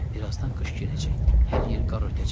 Birazdan qış girəcək, hər yeri qar örtəcək.